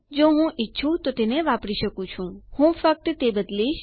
જો હું ઈચ્છું તો તેને વાપરી શકું છું હું ફક્ત તે બદલીશ